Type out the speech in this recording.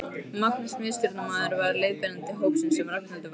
Magnús miðstjórnarmaður var leiðbeinandi hópsins sem Ragnhildur var í.